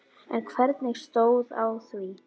En hvernig stóð á því?